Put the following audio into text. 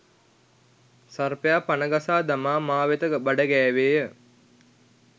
සර්පයා පණ ගසා දමා මා වෙත බඩගෑවේය.